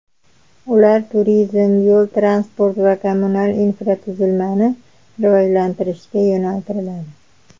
Ular turizm, yo‘l-transport va kommunal infratuzilmani rivojlantirishga yo‘naltiriladi.